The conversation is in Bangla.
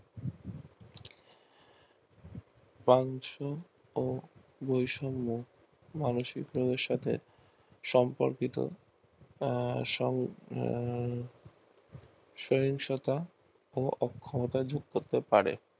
বিভিন্ন মানসিক রোগের সাতে সম্পর্কিত আহ সোহংসতা ও অক্ষমতা যুক্ত হতে পারে